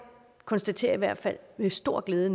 konstaterer i hvert fald med stor glæde